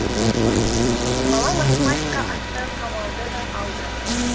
бала математика атты қамалды да алды